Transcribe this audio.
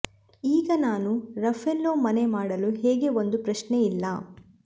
ಈಗ ನಾನು ರಫೆಲ್ಲೊ ಮನೆ ಮಾಡಲು ಹೇಗೆ ಒಂದು ಪ್ರಶ್ನೆ ಇಲ್ಲ